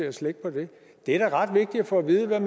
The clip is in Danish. at slække på det det er da ret vigtigt at få at vide hvad